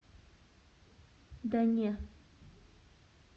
да не